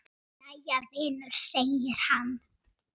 Jæja, vinur segir hann.